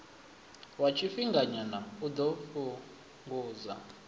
wa tshifhinganyana u ḓo fhungudza